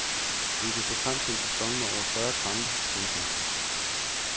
Vi kan se frem til en sæson med over fyrre kampe. punktum